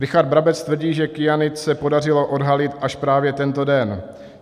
Richard Brabec tvrdí, že kyanid se podařilo odhalit až právě tento den.